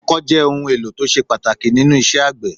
Ọkọ́ jẹ́ ohun èlò tó ṣe pàtàkì nínú isẹ́ àgbẹ̀